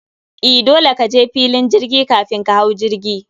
E, dole kaje filin jirgi kafin ka hau jirgi